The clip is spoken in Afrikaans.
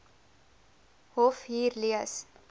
hof hier lees